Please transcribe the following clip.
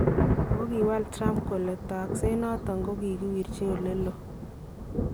Ako kiwaal Trump kole takseet noton kokakiwirchi oleloon